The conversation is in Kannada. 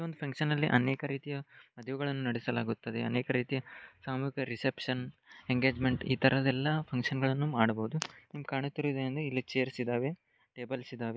ಇದ ಒಂದು ಫಂಕ್ಷನ್ ಲ್ಲಿ ಅನೇಕ ರೀತಿಯ ಮದುವೆಗಳನ್ನು ನಡಿಸಲಾಗುತ್ತದೆ ಅನೇಕ ರೀತಿಯ ಸಾಮುಹಿಕ ರಿಸೆಪ್ಶನ್ ಎಂಗೇಜ್ಮೆಂಟ್ ಇತರದ ಎಲ್ಲ ಫಂಕ್ಷನ ಗಳನ್ನೂ ಮಾಡಬಹುದು ನಿಮಗ್ ಕಾಣಿತ್ತಿರುವುದು ‌ಏನೆಂದ್ರೆ ಇಲ್ಲಿ ಚೈರ್ಸ್ ಇದಾವೆ ಟೇಬಲ್ಸ್ ಇದಾವೆ.